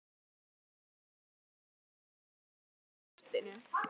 sagði ég og skoðaði myndina í nistinu.